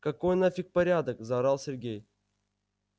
какой нафиг порядок заорал сергей